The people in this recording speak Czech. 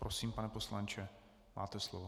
Prosím, pane poslanče, máte slovo.